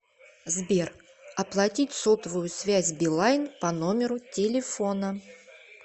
сбер оплатить сотовую связь билайн по номеру телефона